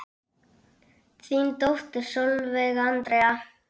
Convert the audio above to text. Þín dóttir Sólveig Andrea.